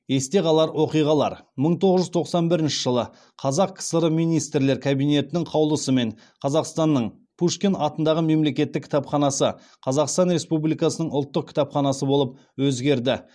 есте қалар оқиғалар мың тоғыз жүз тоқсан бірінші жылы қазақ кср министрлер кабинетінің қаулысымен қазақстанның пушкин атындағы мемлекеттік кітапханасы қазақстан республикасының ұлттық кітапханасы болып өзгерді